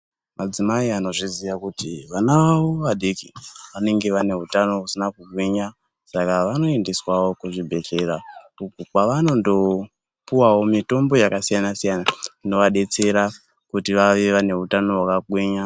Adzimai anozviziya kuti vana vavo vadiki vanenge vane utano usina kugwinya saka vanoendeswawo kuzvibhedhlera uku kwavanondo piwawo mitombo yakasiyana siyana inovadetsera kuti vange vane utano hwakagwinya.